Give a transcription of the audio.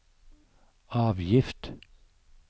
avgift